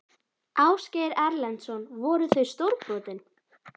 Ásgeir Erlendsson: Voru þau stórbrotin?